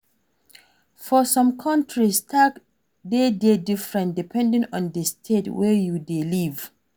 For some countries, tax de dey different depending on di state wey you dey live